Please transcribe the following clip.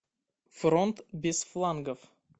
фронт без флангов